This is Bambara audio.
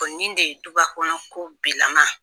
Ko nin de ye duba kɔnɔ ko bilama